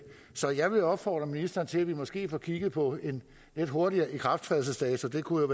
så jeg vil opfordre ministeren til at vi måske får kigget på en lidt hurtigere ikrafttrædelsesdato det kunne